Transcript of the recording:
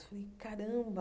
Falei, caramba!